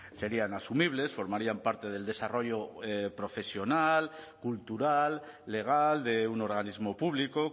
serían asumibles formarían parte del desarrollo profesional cultural legal de un organismo público